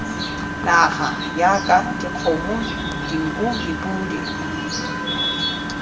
naga jaaka dikgomo dinku dipodi